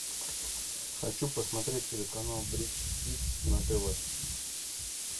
хочу посмотреть телеканал бридж хитс на тв